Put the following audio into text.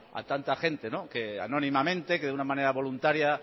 a tanta gente que anónimamente que de una manera voluntaria